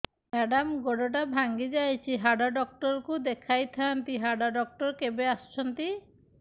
madam ଗୋଡ ଟା ଭାଙ୍ଗି ଯାଇଛି ହାଡ ଡକ୍ଟର ଙ୍କୁ ଦେଖାଇ ଥାଆନ୍ତି ହାଡ ଡକ୍ଟର କେବେ ଆସୁଛନ୍ତି